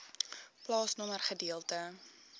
plaasnommer gedeelte